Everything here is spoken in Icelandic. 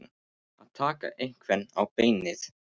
Að taka einhvern á beinið